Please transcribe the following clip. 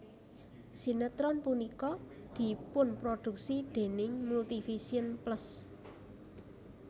Sinetron punika dipunproduksi déning Multivision Plus